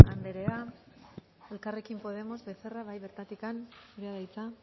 corcuera anderea elkarrekin podemos becerra bai bertatik zurea da hitza